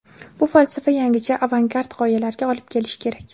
Bu falsafa yangicha avangard g‘oyalarga olib kelishi kerak.